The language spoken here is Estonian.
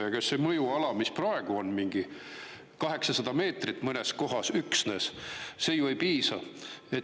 Ja kas see mõjuala, mis praegu on mingi 800 meetrit mõnes kohas üksnes – see ju ei piisa.